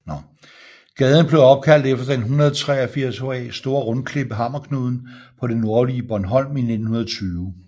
Gaden blev opkaldt efter den 183 ha store rundklippe Hammerknuden på det nordlige Bornholm i 1920